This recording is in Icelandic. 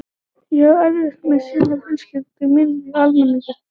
Ég á erfitt með að sinna fjölskyldu minni almennilega í þessu ástandi.